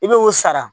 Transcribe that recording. I bɛ o sara